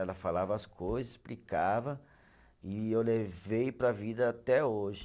Ela falava as coisas, explicava e eu levei para a vida até hoje.